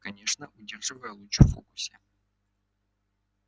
конечно удерживая луч в фокусе